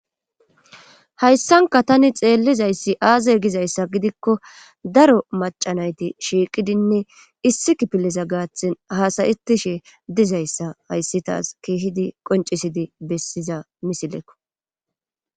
Hayssanka tani xeellizayssi aaze gizayssa gidikko daro macanayti shiiqidinne issi kipiliza gaathtin haasayetishe dizayssa hayssi taas kiihidi qoncisidi bessiza misileko